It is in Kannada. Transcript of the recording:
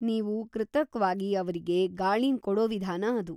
ನೀವು ಕೃತಕ್ವಾಗಿ ಅವ್ರಿಗೆ ಗಾಳಿನ್‌ ಕೊಡೋ ವಿಧಾನ ಅದು.